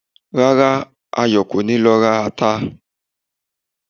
Rárá, Ayọ̀ kò ní lọ ra ata